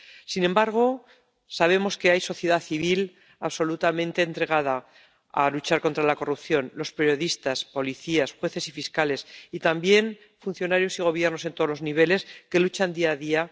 Sin embargo, sabemos que hay sociedad civil absolutamente entregada a luchar contra la corrupción los periodistas, policías, jueces y fiscales, y también funcionarios y gobiernos en todos los niveles que luchan día a día